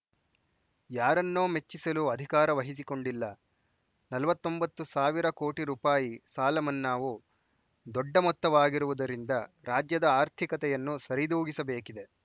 ಯಾರನ್ನೋ ಮೆಚ್ಚಿಸಲು ಅಧಿಕಾರ ವಹಿಸಿಕೊಂಡಿಲ್ಲ ನಲವತ್ತ್ ಒಂಬತ್ತು ಸಾವಿರ ಕೋಟಿ ರೂಪಾಯಿ ಸಾಲಮನ್ನಾವು ದೊಡ್ಡ ಮೊತ್ತವಾಗಿರುವುದರಿಂದ ರಾಜ್ಯದ ಆರ್ಥಿಕತೆಯನ್ನು ಸರಿದೂಗಿಸಬೇಕಿದೆ